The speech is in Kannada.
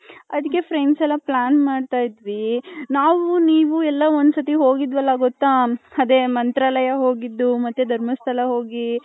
ಅದಿಕ್ಕೆ friends ಎಲ್ಲಾ plan ಮಾಡ್ತೈದಿವಿ ನಾವು ನೀವು ಎಲ್ಲಾ ಒಂದ್ ಸತಿ ಹೋಗಿದ್ವಲ್ಲ ಗೊತ್ತಾ ಆದೇ ಮಂತ್ರಾಲಯ ಹೊಗ್ಗಿದ್ ಮತ್ತೆ ಧರ್ಮಸ್ಥಳ ಹೋಗಿ.